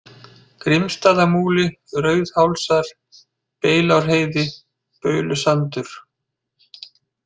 Grímsstaðamúli, Rauðhálsar, Beilárheiði, Baulusandur